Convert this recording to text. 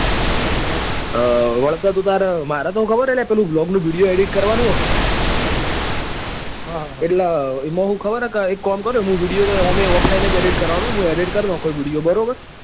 હ વળતે તો તું તાર મારે તોખબર હું પેલા blog નું video edit કરવા નું હ. હા હા એટલે એમાં તો શું ખબર છે કે એક કામ કારીસ મુ video તો અમે offline જ edit કરવાનો હું મુ edit કર નાખોય video બરાબર.